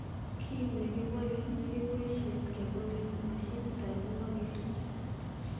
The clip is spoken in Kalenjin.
Kit nekibolen keboishen kebolen mashinitab ingokenik.